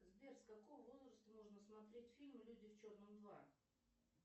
сбер с какого возраста можно смотреть фильм люди в черном два